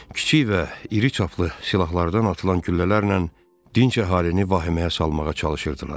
Kiçik və iri çaplı silahlardan atılan güllələrlə dinc əhalini vahiməyə salmağa çalışırdılar.